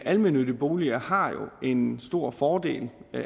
almennyttige boliger har jo en stor fordel